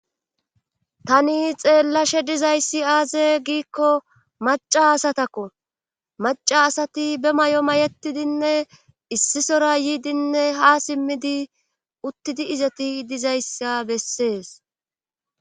Hani xeellashe dizayssi aaze giikko maca asatakko maca asati be may7o may7etidinne issisora yiidinne ha simmidi uttidi izati dizayssa bessees.